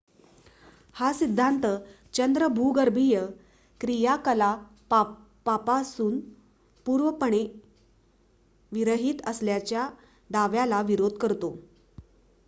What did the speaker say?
हा सिद्धांत चंद्र भूगर्भीय क्रियाकलापांपासून पूर्णपणे विरहित असल्याच्या दाव्याला विरोध करतो